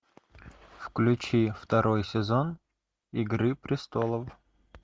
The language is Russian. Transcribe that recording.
включи второй сезон игры престолов